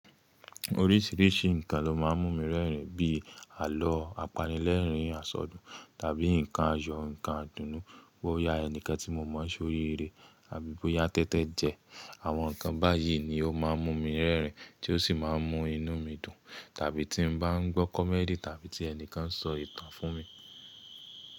Oríṣìíríṣìí nǹkan ló máa ń mú mi rẹ́rìn bíi àlọ́ apanilẹ́rìn àsọdùn tàbí nǹkan àyọ̀, nǹkan àdùnnu, bóyá ẹnikan tí mo mọ̀ ṣe oriiré àbí bóyá tẹ́tẹ́ jẹ. Àwọn nǹkan báyìí ni ó máa ń mú mi rẹ́rìn tí ó sì máa ń mú inú mi dùn. Tàbí tí ń bá ń gbọ́ comedy tàbí tí ẹnikan ń sọ ìtàn fún mi.